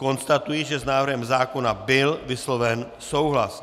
Konstatuji, že s návrhem zákona byl vysloven souhlas.